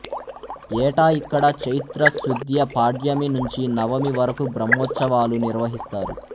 ఏటా ఇక్కడ చైత్రశుద్ధ్య పాడ్యమి నుంచి నవమి వరకు బ్రహ్మోత్సవాలు నిర్వహిస్తారు